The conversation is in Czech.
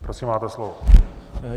Prosím, máte slovo.